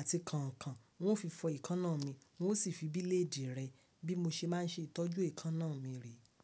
àti kànkàn n ó fi fọ èékánná mi n ó sì fi bíléèdì rẹ bí mo ṣe máa ń ṣe ìtọ́jú èékánná mi re.